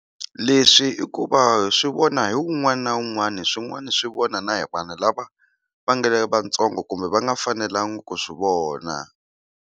Leswi i ku va swi vona hi wun'wana na wun'wana swin'wana swi vona na hi vana lava va nga vatsongo kumbe va nga fanelangi ku swi vona.